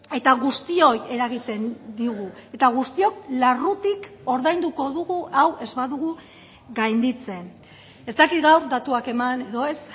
eta guztioi eragiten digu eta guztiok larrutik ordainduko dugu hau ez badugu gainditzen ez dakit gaur datuak eman edo ez